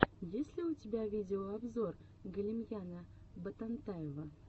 есть ли у тебя видеообзор галимьяна ботантаева